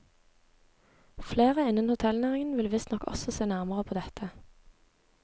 Flere innen hotellnæringen vil visstnok også se nærmere på dette.